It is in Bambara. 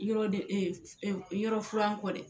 Yɔrɔ de yɔrɔ furan kɔ dɛ